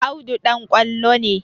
Audu ɗan ƙwallo ne